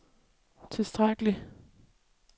tilstrækkelig